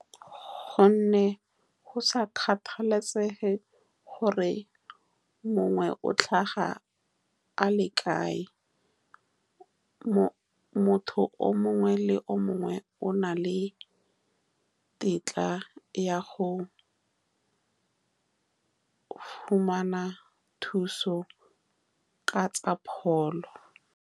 Ka gonne go sa kgathalesege gore mongwe o tlhaga a le kae. Motho o mongwe le o mongwe o na le tetla ya go fumana thuso ka tsa pholo.